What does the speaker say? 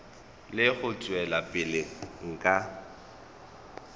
le go tšwela pele ka